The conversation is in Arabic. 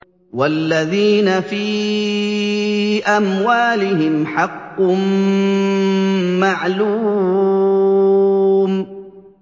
وَالَّذِينَ فِي أَمْوَالِهِمْ حَقٌّ مَّعْلُومٌ